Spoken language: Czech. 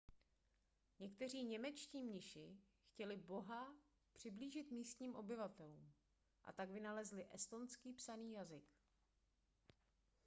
někteří němečtí mniši chtěli boha přiblížit místním obyvatelům a tak vynalezli estonský psaný jazyk